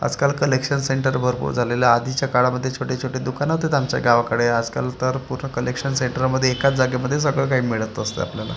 आजकाल collection centre भरपूर झालेला आधीच्या काळामध्ये छोटे छोटे दुकान होते आमच्या गावाकडे आजकाल तर पूर्ण कलेक्शन सेंटरमध्ये एकाच जागेमध्ये सगळं काही मिळत असत आपल्याला--